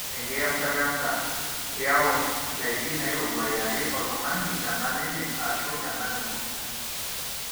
engiyasata enda, iyau indaiki nairowua iyaki oltungani tenkang enye ashu enkang ino.